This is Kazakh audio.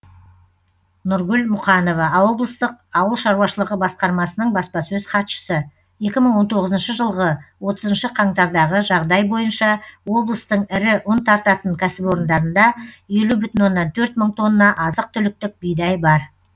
нұргүл мұқанова облыстық ауыл шаруашылығы басқармасының баспасөз хатшысы екі мың он тоғызыншы жылғы отызыншы қаңтардағы жағдай бойынша облыстың ірі ұн тартатын кәсіпорындарында елу бүтін оннан төрт мың тонна азық түліктік бидай бар